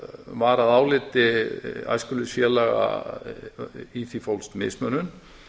var að áliti æskufélaga í því fólst mismunun